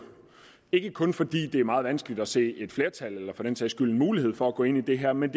ikke kun fordi det er meget vanskeligt at se et flertal eller for den sags skyld en mulighed for at gå ind i det her men